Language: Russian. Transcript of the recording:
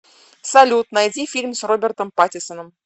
салют найди фильм с робертом паттиссоном